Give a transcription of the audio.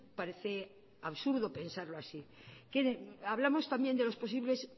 parece absurdo pensarlo así hablamos también de los posibles